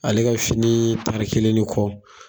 Ale ka fini tari kelen ni kɔ